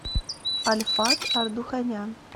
альфат ардуханян